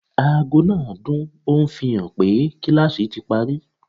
Aago náà dún, ó ń fi hàn pé kíláàsì ti parí